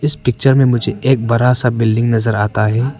इस पिक्चर में मुझे एक बड़ा सा बिल्डिंग नजर आता है।